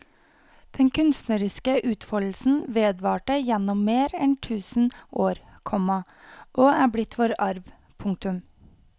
Den kunstneriske utfoldelsen vedvarte gjennom mer enn tusen år, komma og er blitt vår arv. punktum